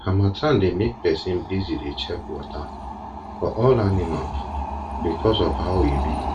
harmattan dey make person busy dey check water for all animal because of how e be